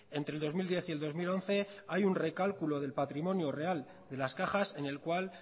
entre el dos mil diez y el dos mil once hay un recálculo del patrimonio real de las cajas en el cual